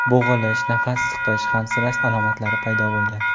Bo‘g‘ilish, nafas siqish, hansirash alomatlari paydo bo‘lgan.